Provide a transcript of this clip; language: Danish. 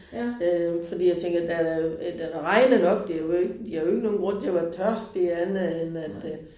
Øh fordi jeg tænker der er da det er da regnet nok det er jo ikke de har jo ikke nogen grund til at være tørstige andet end at øh